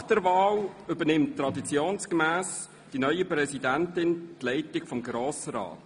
Nach der Wahl übernimmt traditionsgemäss die neue Präsidentin die Leitung des Grossen Rats.